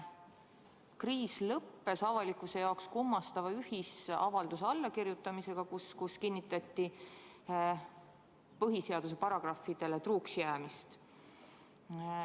Kriis lõppes avalikkuse jaoks kummastava ühisavalduse allakirjutamisega, kus kinnitati põhiseaduse paragrahvidele truuks jäämist.